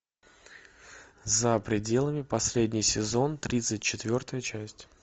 за пределами последний сезон тридцать четвертая часть